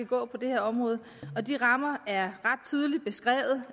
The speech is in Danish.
gå på det her område og de rammer er ret tydeligt beskrevet